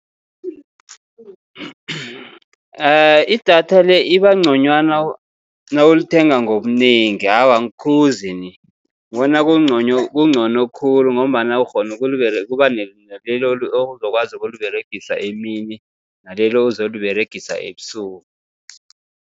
Idatha le iba nconywana nawulithenga ngobunengi. Awa, angikhuzi ni, ngibona kuncono khulu ngombana ukghona ukuba naleli ozokwazi ukuliberegisa emini, naleli ozoliberegisa ebusuku.